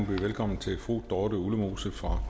byde velkommen til fru dorthe ullemose fra